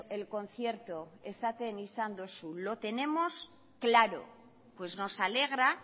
el concierto esaten izan duzu lo tenemos claro pues nos alegra